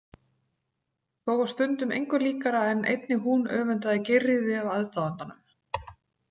Þó var stundum engu líkara en einnig hún öfundaði Geirríði af aðdáandanum.